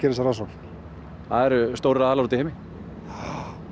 þessa rannsókn það eru stórir aðilar úti í heimi já